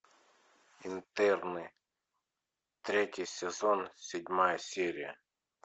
интерны третий сезон седьмая серия